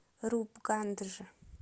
рупгандж